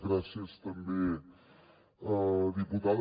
gràcies també diputada